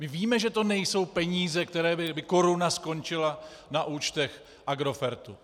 My víme, že to nejsou peníze, kde by koruna skončila na účtech Agrofertu.